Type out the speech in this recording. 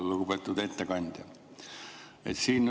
Lugupeetud ettekandja!